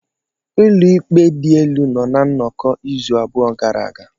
Ụlọ ikpe dị elu nọ na nnọkọ izu abụọ gara aga.